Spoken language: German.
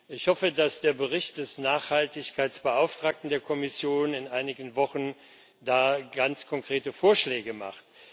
Ich hoffe, dass der Bericht des Nachhaltigkeitsbeauftragten der Kommission in einigen Wochen da ganz konkrete Vorschläge macht.